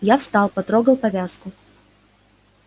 я встал потрогал повязку